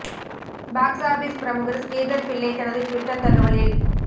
box office பிரமுகர் ஸ்ரீதர் பிள்ளை தனது Twitter தகவலில்